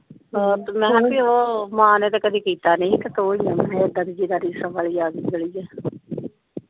ਮੈਂ ਕਿਹਾ ਉਹ ਮਾਂ ਨੇ ਤੇ ਕਦੇ ਕਿੱਤਾ ਨੀ ਸੀ ਤੇ ਤੂੰ ਹੀ ਹੈ ਫੇਰ ਉਡਦਾ ਦੀ ਜਿਦੀ ਰੀਸ ਵਾਲੀ ਆ ਗਈ .